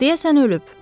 Deyəsən ölüb.